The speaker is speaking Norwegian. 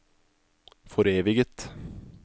foreviget